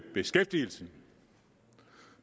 beskæftigelsen